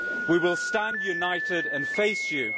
We will stand united and face you.